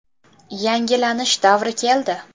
Yangilanish davri keldi’”.